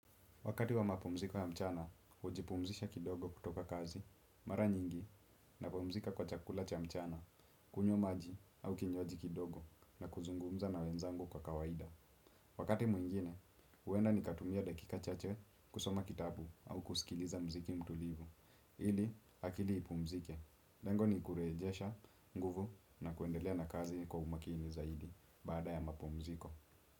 Wakati wa mapumziko ya mchana, hujipumzisha kidogo kutoka kazi, mara nyingi, na pumzika kwa chakula cha mchana, kunywa maji au kinywaji kidogo na kuzungumza na wenzangu kwa kawaida. Wakati mwingine, huenda ni katumia dakika chache kusoma kitabu au kusikiliza mziki mtulivu, ili akili ipumzike. Lengo ni kurejesha, nguvu na kuendelea na kazi kwa umakini zaidi bada ya mapumziko.